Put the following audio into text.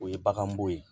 O ye bagan bo ye